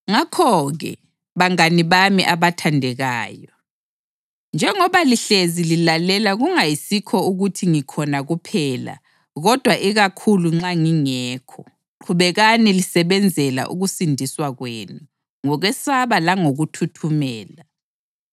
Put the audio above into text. Ngakho-ke, bangane bami abathandekayo, njengoba lihlezi lilalela kungayisikho ukuthi ngikhona kuphela kodwa ikakhulu nxa ngingekho, qhubekani lisebenzela ukusindiswa kwenu ngokwesaba langokuthuthumela